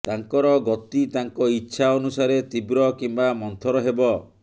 ତାଙ୍କର ଗତି ତାଙ୍କ ଇଚ୍ଛା ଅନୁସାରେ ତୀବ୍ର କିମ୍ବା ମନ୍ଥର ହେବ